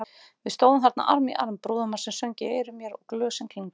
Við stóðum þarna arm í arm, brúðarmarsinn söng í eyrum mér og glösin klingdu.